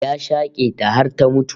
Ya shake ta har ta mutu